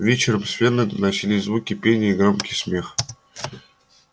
вечером с фермы доносились звуки пения и громкий смех